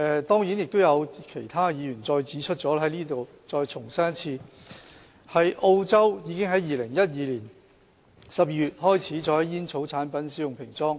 當然，其他議員亦已指出，我在此重申，澳洲在2012年12月開始在煙草產品使用平裝。